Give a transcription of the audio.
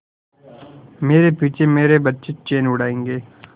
मेरे पीछे मेरे बच्चे चैन उड़ायेंगे